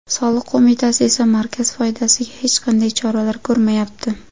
Soliq qo‘mitasi esa markaz foydasiga hech qanday choralar ko‘rmayapti.